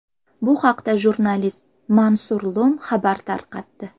Bu haqda jurnalist Mansur Lum xabar tarqatdi .